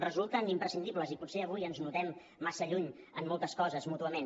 resulten imprescindibles i potser avui ens notem massa lluny en moltes coses mútuament